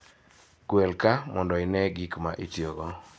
Gwel kaa mondo ine gik ma itiyogo.